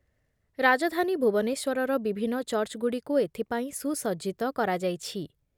ରାଜଧାନୀ ଭୁବନେଶ୍ଵରର ବିଭିନ୍ନ ଚର୍ଜ୍‌ଗୁଡ଼ିକୁ ଏଥିପାଇଁ ସୁସଜ୍ଜିତ କରାଯାଇଛି ।